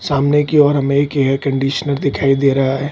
सामने की ओर हमें एक एयर कंडीशनर दिखाई दे रहा है।